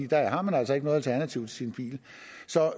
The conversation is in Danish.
der har man altså ikke noget alternativ til sin bil